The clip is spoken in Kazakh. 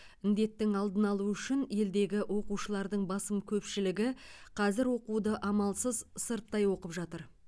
індеттің алдын алу үшін елдегі оқушылардың басым көпшілігі қазір оқуды амалсыз сырттай оқып жатыр